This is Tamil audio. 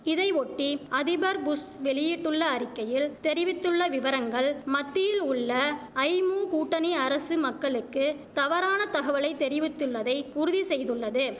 இதை ஒட்டி அதிபர் புஷ் வெளியிட்டுள்ள அறிக்கையில் தெரிவித்துள்ள விவரங்கள் மத்தியில் உள்ள ஐமு கூட்டணி அரசு மக்களுக்கு தவறான தகவலை தெரிவித்துள்ளதை உறுதி செய்துள்ளது